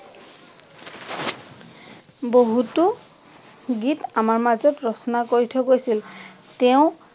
বহুতো গীত আমাৰ মাজত ৰচনা কৰি থৈ গৈছিল, তেঁও